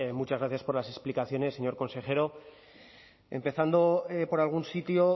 muchas gracias por las explicaciones señor consejero empezando por algún sitio